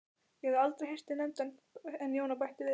Ég hafði aldrei heyrt þig nefndan en Jóna bætti við